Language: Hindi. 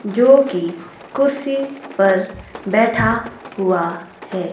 जो की कुर्सी पर बैठा हुआ है।